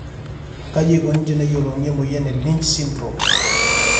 kaji eikoni teneyiolouni emoyian e Lynch syndrome?